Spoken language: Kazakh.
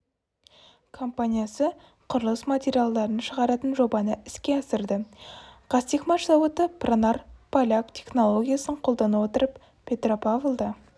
компаниясы құрылыс материалдарын шығаратын жобаны іске асырды қазтехмаш зауыты пронар поляк технологиясын қолдана отырып петропавлда